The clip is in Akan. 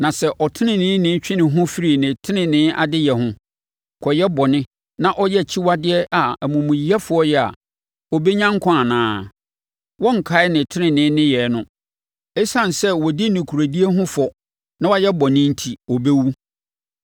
“Na sɛ ɔteneneeni twe ne ho firi ne tenenee adeyɛ ho, kɔyɛ bɔne, na ɔyɛ akyiwadeɛ a amumuyɛfoɔ yɛ a, ɔbɛnya nkwa anaa? Wɔrenkae ne tenenee nneyɛɛ no. Esiane sɛ ɔdi nokorɛdie ho fɔ na wayɛ bɔne enti, ɔbɛwu.